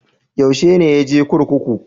Yaushe ne ya je kurkuku?